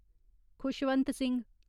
Khushwant Singh